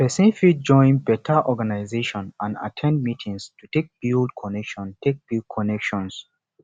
persin fit join better organisation and at ten d meetings to take build connection take build connection